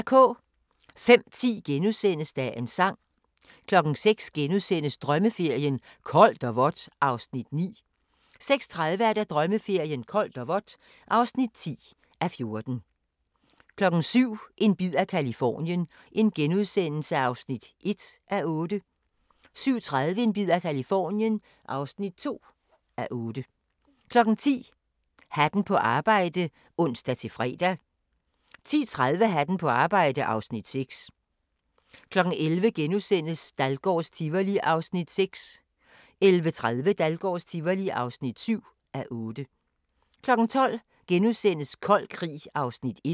05:10: Dagens Sang * 06:00: Drømmeferien: Koldt og vådt (9:14)* 06:30: Drømmeferien: Koldt og vådt (10:14) 07:00: En bid af Californien (1:8)* 07:30: En bid af Californien (2:8) 10:00: Hatten på arbejde (ons-fre) 10:30: Hatten på arbejde (Afs. 6) 11:00: Dahlgårds Tivoli (6:8)* 11:30: Dahlgårds Tivoli (7:8) 12:00: Kold Krig (1:3)*